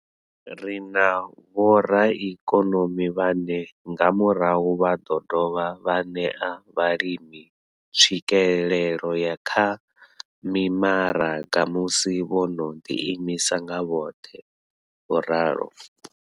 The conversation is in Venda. Ri na vhoraikonomi vhane nga murahu vha ḓo dovha vha ṋea vhalimi tswikelelo kha mimaraga musi vho no ḓiimisa nga vhoṱhe, vho ralo.